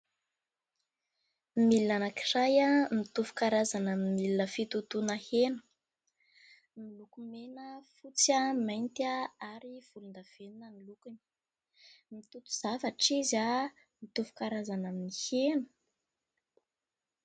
Milina anankiray mitovy karazana amin'ny milina fitotoana hena. Miloko mena, fotsy ary mainty ary volondavenona ny lokony. Mitoto zavatra izy mitovy karazana amin'ny hena.